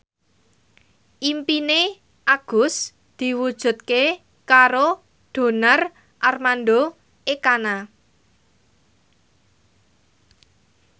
impine Agus diwujudke karo Donar Armando Ekana